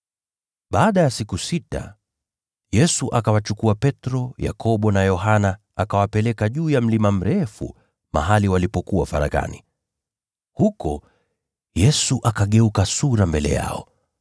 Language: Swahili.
Baada ya siku sita, Yesu akawachukua Petro, Yakobo na Yohana, akawapeleka juu ya mlima mrefu, mahali walipokuwa faraghani. Huko, Yesu akageuka sura mbele yao.